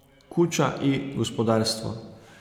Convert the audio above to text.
Kuča i gospodarstvo.